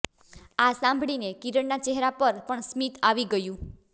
આ સાંભળીને કિરણનાં ચહેરા પર પણ સ્મિત આવી ગયું